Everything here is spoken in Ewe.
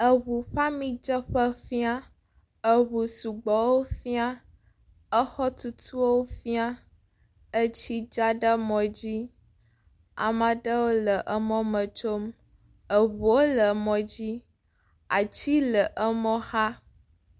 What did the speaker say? Edzo bi emɔmemidzeƒe aɖe esime ke eʋuwo wofĩa eye agbadɔ si te wodzena amia le eya hã fĩa adzidzɔ le tutum eya ta woyɔ edzotsilawo siwo kɔ woƒe ʋua tɔɖe mɔdodoa dzi eye wole dzoa tsi. Amewo tsatsitre ɖe mɔ godo hele nukpɔm esime ke edzotsitsila le edzi yim.